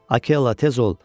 "Akella, tez ol!